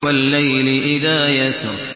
وَاللَّيْلِ إِذَا يَسْرِ